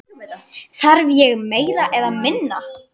Þarf ég meira eða minna?